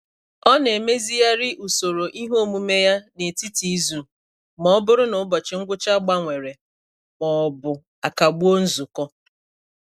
Ọ na-emezigharị usoro ihe omume ya n'etiti izu ma ọ bụrụ na ụbọchị ngwụcha gbanwere ma ọ bụ akagbuo nzukọ.